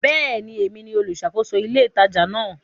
Bẹ́ẹ̀ni, èmi ni olùṣàkóso ní ilé ìtajà náà.